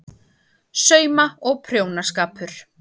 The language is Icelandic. SAUMA- OG PRJÓNASKAPUR